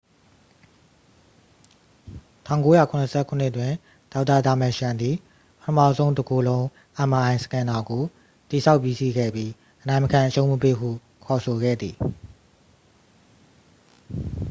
1977တွင် ဒေါက်တာ ဒါမာရှန်သည် ပထမဆုံး တကိုယ်လုံး mri စကင်နာကို တည်ဆောက်ပြီးစီးခဲ့ပြီး အနိုင်မခံအရှုံးမပေးဟု ခေါ်ဆိုခဲ့သည်